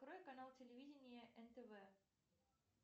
открой канал телевидения нтв